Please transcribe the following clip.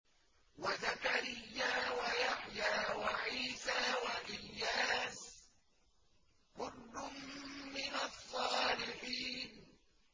وَزَكَرِيَّا وَيَحْيَىٰ وَعِيسَىٰ وَإِلْيَاسَ ۖ كُلٌّ مِّنَ الصَّالِحِينَ